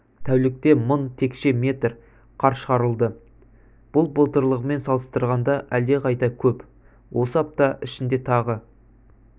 тәулікте мың текше метр қар шығарылды бұл былтырғымен салыстырғанда әлдеқайда көп осы апта ішінде тағы